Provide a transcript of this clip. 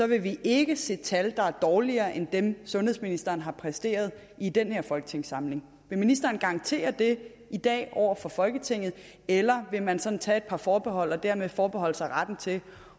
vil vi ikke se tal der er dårligere end dem sundhedsministeren har præsteret i den her folketingssamling vil ministeren garantere det i dag over for folketinget eller vil man sådan tage et par forbehold og dermed forbeholde sig retten til